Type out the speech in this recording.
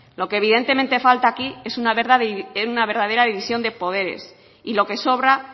lo que evidentemente falta aquí es una verdadera división de poderes y lo que sobra